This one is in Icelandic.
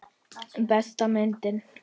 Besta myndin?